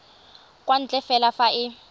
kwa ntle fela fa e